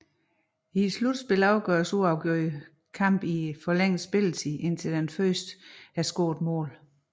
I slutspillet afgøres uafgjorte kampe i forlænget spilletid indtil første scorede mål